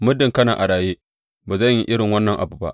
Muddin kana a raye, ba zan yi irin wannan abu ba!